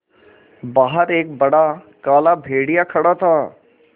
बाहर एक बड़ा काला भेड़िया खड़ा था